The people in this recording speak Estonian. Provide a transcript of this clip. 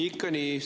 Ikka nii!